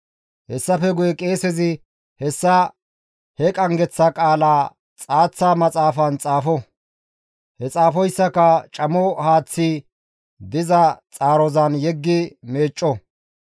«Hessafe guye qeesezi hessa he qanggeththa qaala xaaththa maxaafan xaafo; he xaafoyssaka camo haaththazi diza xaarozan yeggi meecco.